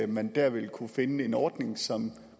man der vil kunne finde en ordning som